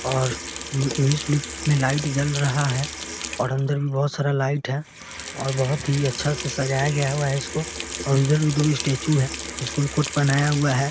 और में लाइट जाल रहा है और अंदर में बहुत सारा लाइट हैं और बहुत ही अच्छा से सजाया गया हुआ है इसको और इधर भी दोगो स्टेचू हैं इसको को भी कोट पहना हुआ है ।